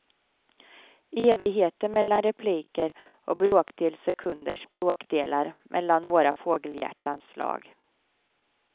Evigheter mellan repliker och bråkdels sekunders bråkdelar mellan våra fågelhjärtans slag.